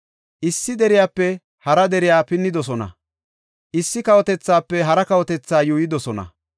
Issi deriyape hara dere pinnidosona; issi kawotethaafe hara kawotethi yuuyidosona.